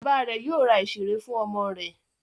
Bàbá rẹ̀ yóò ra ìṣeré fún ọmọ rẹ̀.